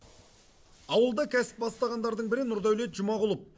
ауылда кәсіп бастағандардың бірі нұрдәулет жұмағұлов